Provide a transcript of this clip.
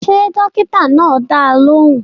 Ṣé dókítà náà dá ọ lóhùn?